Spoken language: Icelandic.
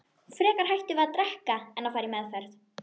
Frekar hættum við að drekka en fara í meðferð.